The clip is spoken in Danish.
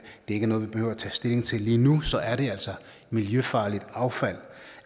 er noget vi behøver at tage stilling til lige nu så er det altså miljøfarligt affald